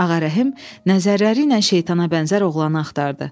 Ağarəhm nəzərləri ilə şeytana bənzər oğlanı axtardı.